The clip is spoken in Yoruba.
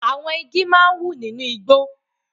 Àwọn igi máa ń wù nínú igbó.